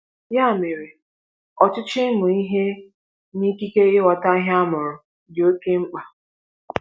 Ya mere, ọchịchọ ịmụ ihe na ikike ịghọta ihe a mụrụ dị oké mkpa.